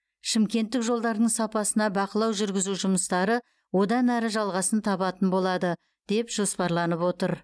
шымкенттік жолдардың сапасына бақылау жүргізу жұмыстары одан әрі жалғасын табатын болады деп жоспарланып отыр